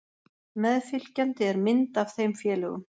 Meðfylgjandi er mynd af þeim félögum.